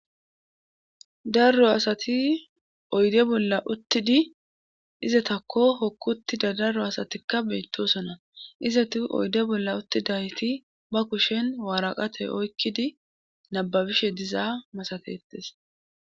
Darro asati oyde bolla uttidi izatakko hokk uttida darro asatikka beyttosona izati oyde bolla uttidayti ba kushen waaraqate oykkidi nababishe dizaa masatetes.